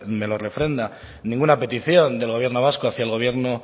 me lo refrenda ninguna petición del gobierno vasco hacia el gobierno